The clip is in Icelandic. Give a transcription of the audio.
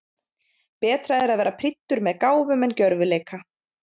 Betra er að vera prýddur með gáfum en gjörvileika.